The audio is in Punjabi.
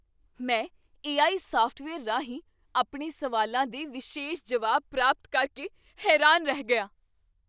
ਮੈਂ ਏ ਆਈ ਸੌਫਟਵੇਅਰ ਰਾਹੀਂ ਆਪਣੇ ਸਵਾਲਾਂ ਦੇ ਵਿਸ਼ੇਸ਼ ਜਵਾਬ ਪ੍ਰਾਪਤ ਕਰਕੇ ਹੈਰਾਨ ਰਹਿ ਗਿਆ।